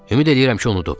Ümid eləyirəm ki, unudub.